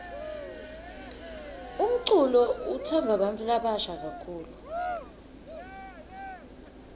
umculo utsandvwa bantfu labasha kakhulu